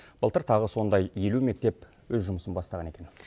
былтыр тағы сондай елу мектеп өз жұмысын бастаған екен